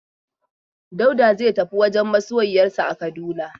Dauda zai tafi wajen masoyiyarsa a Kaduna.